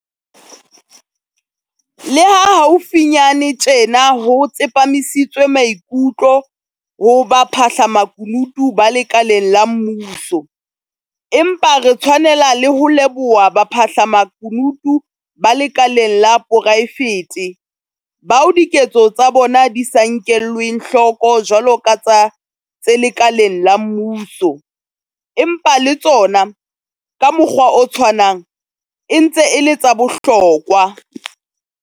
Le ha haufinyane tjena ho tsepamisitswe maikutlo ho baphahlamakunutu ba lekaleng la mmuso, empa re tshwanela le ho leboha baphahlamakunutu ba lekaleng la poraefete, bao diketso tsa bona di sa nkelweng hloko jwalo ka tsa tse lekaleng la mmuso, empa le tsona, ka mokgwa o tshwanang, e ntse e le tsa bohlokwa.